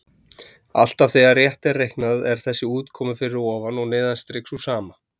Alltaf þegar rétt er reiknað er þessi útkoma fyrir ofan og neðan strik sú sama.